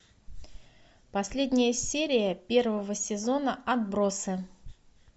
последняя серия первого сезона отбросы